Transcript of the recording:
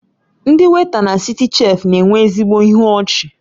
Ndị weịta na Citichef na-enwe ezigbo ịhụ ọchi